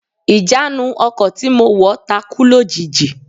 Ìjánu ọkọ̀ tí mo wọ̀ takú lójijì